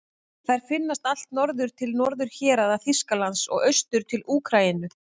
Þær finnast allt norður til norðurhéraða Þýskalands og austur til Úkraínu.